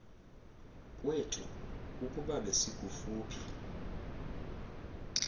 kwethu ukuba besikufuphi